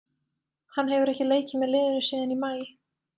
Hann hefur ekki leikið með liðinu síðan í maí.